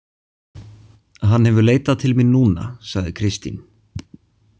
Hann hefur leitað til mín núna, sagði Kristín.